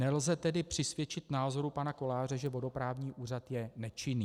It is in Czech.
Nelze tedy přisvědčit názoru pana Koláře, že vodoprávní úřad je nečinný.